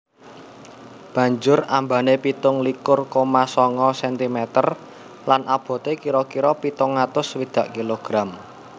Banjur ambané pitung likur koma sanga sentimeter lan aboté kira kira pitung atus swidak kilogram